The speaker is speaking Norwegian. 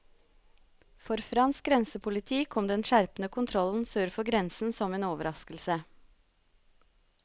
For fransk grensepoliti kom den skjerpede kontrollen sør for grensen som en overraskelse.